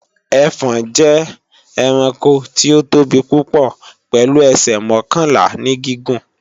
Ẹfọ̀n jẹ́ ẹranko tí ó tóbi púpò pèlu ẹsẹ̀ mọ́kànlá ní gígùn.